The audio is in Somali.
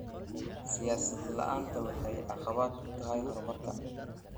Siyaasad la�aantu waxay caqabad ku tahay horumarka.